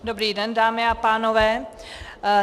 Dobrý den, dámy a pánové.